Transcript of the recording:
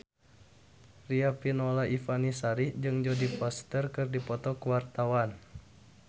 Riafinola Ifani Sari jeung Jodie Foster keur dipoto ku wartawan